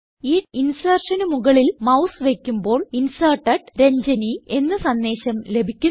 ഈ insertionന് മുകളിൽ മൌസ് വയ്ക്കുമ്പോൾ Inserted രഞ്ജനി എന്ന സന്ദേശം ലഭിക്കുന്നു